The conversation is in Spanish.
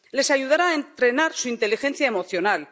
Les ayudará a entrenar su inteligencia emocional.